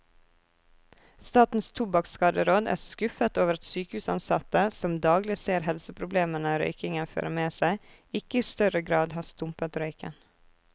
Statens tobakkskaderåd er skuffet over at sykehusansatte, som daglig ser helseproblemene røykingen fører med seg, ikke i større grad har stumpet røyken.